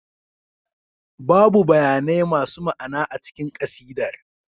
Babu bayanai masu ma'ana a cikin ƙasidar